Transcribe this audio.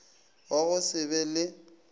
wa go se be le